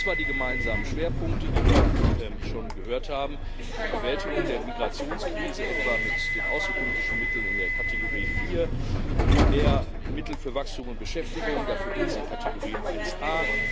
Es gibt zwar die gemeinsamen Schwerpunkte, die wir schon gehört haben die Bewältigung der Migrationskrise, etwa mit den außenpolitischen Mitteln in der Kategorie 4, mehr Mittel für Wachstum und Beschäftigung dafür gibt es die Kategorie 1A.